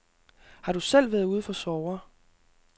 Har du selv været ude for sorger?